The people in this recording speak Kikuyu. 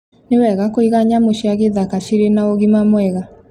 Nĩ wega kũiga nyamũ cia githaka cirĩ na ũgima mwega